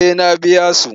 Eh na biya su.